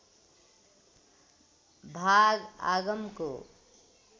भाग आगमको